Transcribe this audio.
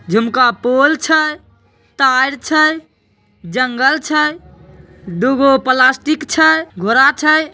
जमका pole छै तार छै जंगल छ दुगो प्लास्टिक छै घोड़ा छै।